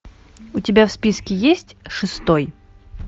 у тебя в списке есть шестой